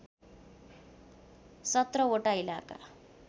१७ वटा इलाका